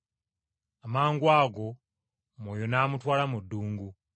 Amangwago Mwoyo n’amutwala mu ddungu.